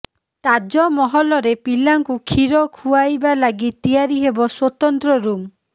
ତାଜମହଲରେ ପିଲାଙ୍କୁ କ୍ଷୀର ଖୁଆଇବା ଲାଗି ତିଆରି ହେବ ସ୍ବତନ୍ତ୍ର ରୁମ୍